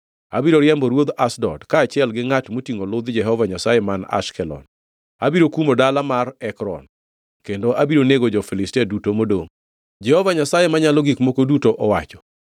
Abiro riembo ruodh Ashdod kaachiel gi ngʼat motingʼo ludh Jehova Nyasaye man Ashkelon. Abiro kumo dala mar Ekron, kendo abiro nego jo-Filistia duto modongʼ,” Jehova Nyasaye Manyalo Gik Moko Duto owacho.